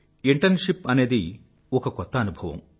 internship అనేదే ఒక కొత్త అనుభవం